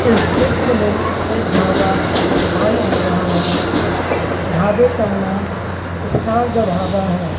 इस चित्र में एक ढाबा दिखाई दे रहा है ढाबे का नाम स्टार द ढाबा है।